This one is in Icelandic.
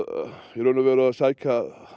í raun og veru að sækja